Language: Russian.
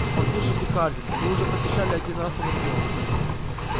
послушайте хардин вы уже посещали один раз анакреон